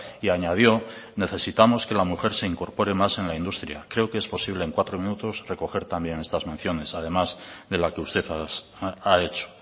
y añadió necesitamos que la mujer se incorpore más en la industria creo que es posible en cuatro minutos recoger también estas menciones además de la que usted ha hecho